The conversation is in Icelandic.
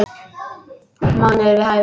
Mánuður við hæfi.